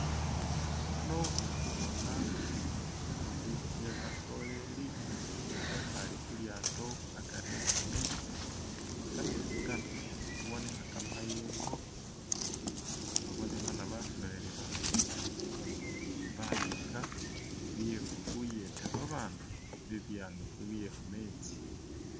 Ano khuli khubona sibumbitsi she basoleli bekhale khulyato akari e'kametsi kametsi kano khubonekha kamayengo! bonekhana basoleli bano ba yiyika bye khuyeta ba'bantu mu biyangafu bye khumetsi.